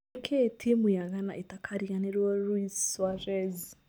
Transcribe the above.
Nĩkĩĩ timũ ya ghana ĩtakariganĩrũo Luis Suarez?